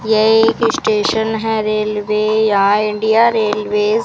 यह एक स्टेशन है रेलवे या इंडिया रेलवेज --